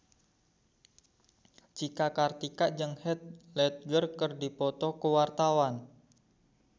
Cika Kartika jeung Heath Ledger keur dipoto ku wartawan